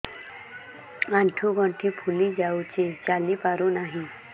ଆଂଠୁ ଗଂଠି ଫୁଲି ଯାଉଛି ଚାଲି ପାରୁ ନାହିଁ